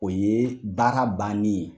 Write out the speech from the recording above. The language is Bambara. O ye baara bannen ye